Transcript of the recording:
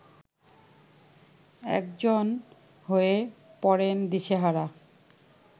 একজন হয়ে পড়েন দিশেহারা